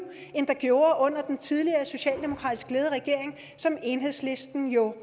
end der gjorde under den tidligere socialdemokratisk ledede regering som enhedslisten jo